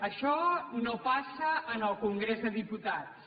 això no passa en el congrés dels diputats